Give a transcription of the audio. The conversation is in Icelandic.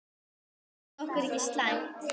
Það þótti okkur ekki slæmt.